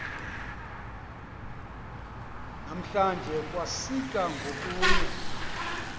namhlanje kwasika ngokunye